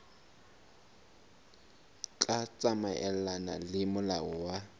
tla tsamaelana le molao wa